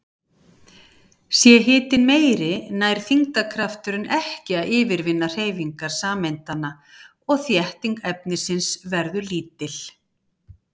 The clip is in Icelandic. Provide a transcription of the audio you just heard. Sé hitinn meiri nær þyngdarkrafturinn ekki að yfirvinna hreyfingar sameindanna og þétting efnisins verður lítil.